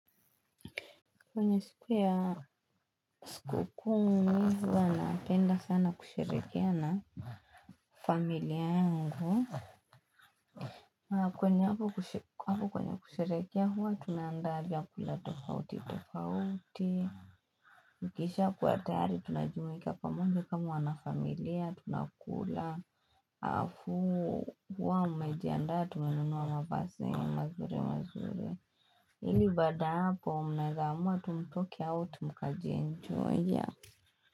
Kwenye siku ya sikuku mi huwa napenda sana kusherekea na familia yangu. Kwenye hapo kwenye kusherehekea huwa tunaanda vyakula tofauti tofauti. Mkishakuwa tayari tunajumuika pamoja kama wanafamilia tunakula. Alafuu huwa umejiandaa tumenunua mavazi mazuri mazuri. Ili baada ya hapo mnaeza amua tu mtoke out mkajienjoy yea.